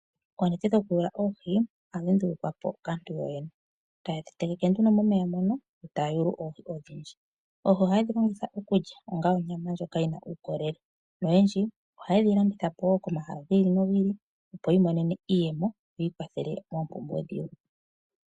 Oonete dhokuyuya oohi, oha dhi ndulukwapo kaantu yoyene. Oha ye dhitegeke momeya moka, eta ya yulu oohi odhindji. Oohi oha yedhilongitha okulya, onga onyama ndjoka yina uukololele, noyendji oha ye dhi landitha po komahala giili noku ili opo yamone iiyemo yiikwathele moompumbwe dhawo.